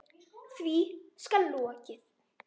Því skal lokið.